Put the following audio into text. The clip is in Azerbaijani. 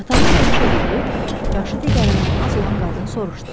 Atanız rəhmətə gedib, yaşı digərindən az olan qadın soruşdu.